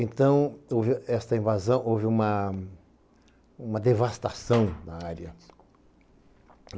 Então, esta invasão, houve uma devastação na área.